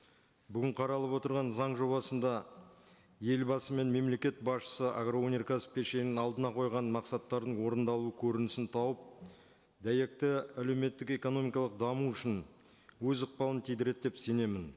бүгін қаралып отырған заң жобасында елбасы мен мемлекет басшысы агроөнеркәсіп кешенінің алдына қойған мақсаттардың орындалу көрінісін тауып дәйекті әлеуметтік экономикалық даму үшін өз ықпалын тидіреді деп сенемін